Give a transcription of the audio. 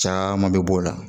Caman bɛ bɔ o la